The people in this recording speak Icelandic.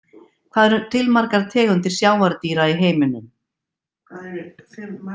Hvað eru til margar tegundir sjávardýra í heiminum?